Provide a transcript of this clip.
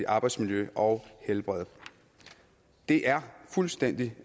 arbejdsmiljø og helbred det er fuldstændig